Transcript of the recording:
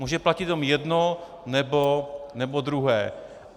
Může platit buď jedno, nebo druhé.